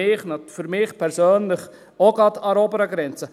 Für mich persönlich auch gerade an der oberen Grenze.